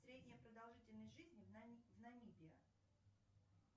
средняя продолжительность жизни в намибии